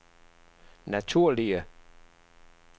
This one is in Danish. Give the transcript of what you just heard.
naturlige